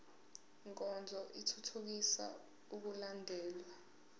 nkonzo ithuthukisa ukulandelwa